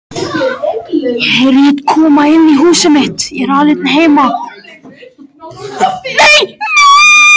Þetta er einfaldur en einstaklega góður eftirréttur.